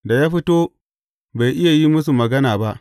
Da ya fito, bai iya yin musu magana ba.